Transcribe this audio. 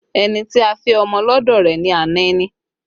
Ẹni tí a fẹ́ ọmọ lọ́dọ̀ rẹ ni ana ẹni